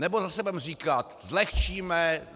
Nebo zase budeme říkat: Zlehčíme.